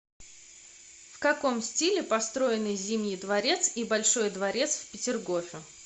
в каком стиле построены зимний дворец и большой дворец в петергофе